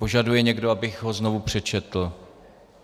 Požaduje někdo, abych ho znovu přečetl?